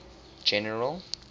general